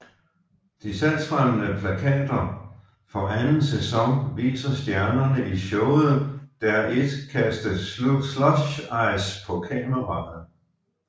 De salgsfremmende plakater for anden sæson viser stjernerne i showet der et kaste slushice på kameraet